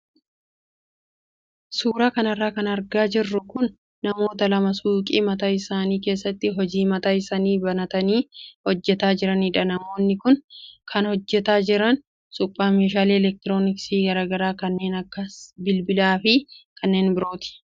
Suuraa kanarra kan argaa jirru kun namoota lama suuqii mataa isaanii keessatti hojii mataa isaanii banatanii hojjataa jiranidha. Namoonni kun kan hojjataa jiran suphaa meeshaalee elektirooniksii garaagaraa kanneen akka bilbilaa fi kanneen birooti.